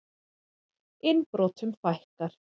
Innbrotum fækkar